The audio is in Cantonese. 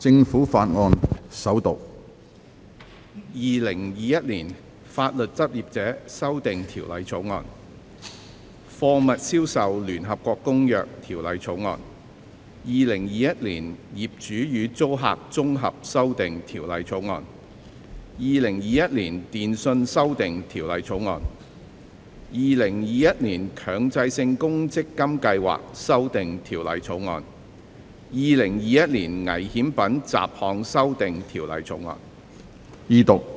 《2021年法律執業者條例草案》《貨物銷售條例草案》《2021年業主與租客條例草案》《2021年電訊條例草案》《2021年強制性公積金計劃條例草案》《2021年危險品條例草案》。